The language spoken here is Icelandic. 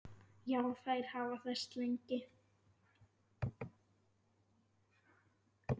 Já, þær hafa þekkst lengi.